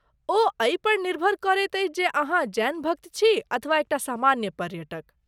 ओ एहि पर निर्भर करैत अछि जे अहाँ जैन भक्त छी अथवा एक टा सामान्य पर्यटक।